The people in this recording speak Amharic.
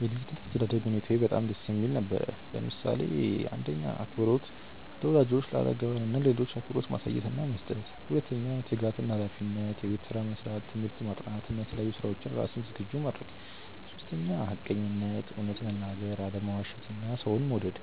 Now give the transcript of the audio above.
የ ልጅነት አስተዳደግ ሁኔታየ በጣም ደስ የሚል ነበር፣ ለምሳሌ :- 1. አክብሮት - ለወላጆች፣ ለአረጋውያን እና ለሌሎች አክብሮት ማሳየት እና መስጠት 2· ትጋት እና ሃላፊነት - የቤት ስራ መስራት፣ ትምህርት ማጥናት እና ለተለያዩ ስራዎች ራስን ዝግጁ ማድረግ 3· ሐቀኝነት - እውነት መናገር፣ አለመዋሸት እና ሰውን መውደድ